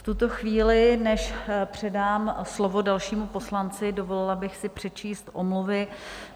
V tuto chvíli, než předám slovo dalšímu poslanci, dovolila bych si přečíst omluvy.